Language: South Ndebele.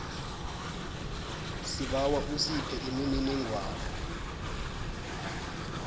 sibawa usiphe imininingwana